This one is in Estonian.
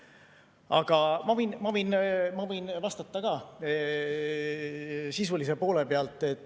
Aga ma võin vastata ka sisulise poole pealt.